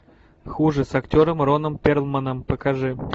хуже с актером роном перлманом покажи